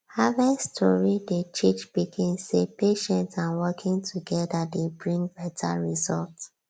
harvest story dey teach pikin say patience and working together dey bring better result